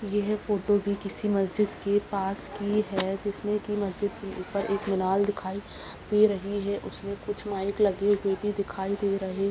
यह फोटो भी किसी मस्जिद के पास की है जिसमें की मस्जिद के ऊपर एक मिनाल दिखाई दे रही है उसमे कुछ माइक लगे हुए भी दिखाई दे रहे --